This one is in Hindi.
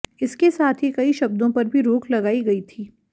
इसके साथ ही कई शब्दों पर भी रोक लगाई गई थी